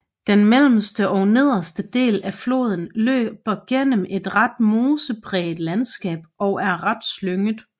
Den mellemste og nederste del af floden løber gennem et ret mosepræget landskab og er ret slynget